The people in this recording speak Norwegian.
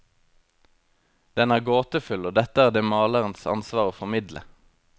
Den er gåtefull, og dette er det malerens ansvar å formidle.